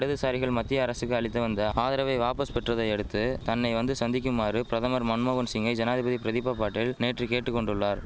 இடதுசாரிகள் மத்திய அரசுக்கு அளித்து வந்த ஆதரவை வாபஸ் பெற்றதையடுத்து தன்னை வந்து சந்திக்குமாறு பிரதமர் மன்மோகன் சிங்கை ஜனாதிபதி பிரதிபா பாட்டீல் நேற்று கேட்டு கொண்டுள்ளார்